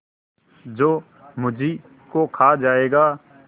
जो मुझी को खा जायगा